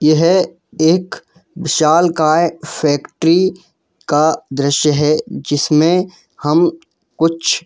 यह एक विशालकाय फैक्ट्री का दृश्य है जिसमें हम कुछ --